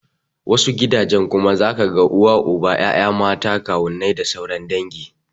Wasu gidajen kuma zaka ga uba, uwa, ya'ya, matan kawunnai da sauran dangi.